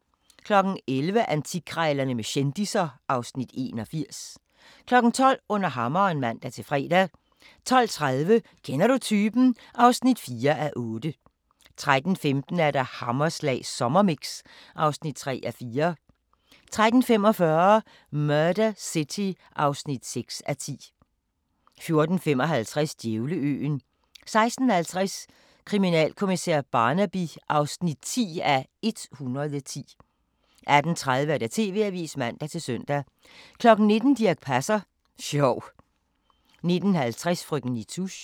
11:00: Antikkrejlerne med kendisser (Afs. 81) 12:00: Under hammeren (man-fre) 12:30: Kender du typen? (4:8) 13:15: Hammerslag sommermix (3:4) 13:45: Murder City (6:10) 14:55: Djævleøen 16:50: Kriminalkommissær Barnaby (10:110) 18:30: TV-avisen (man-søn) 19:00: Dirch Passer Sjov 19:50: Frøken Nitouche